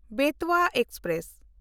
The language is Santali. ᱵᱮᱛᱣᱟ ᱮᱠᱥᱯᱨᱮᱥ